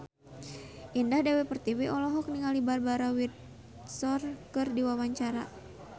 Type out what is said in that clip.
Indah Dewi Pertiwi olohok ningali Barbara Windsor keur diwawancara